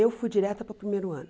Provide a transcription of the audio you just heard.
Eu fui direta para o primeiro ano.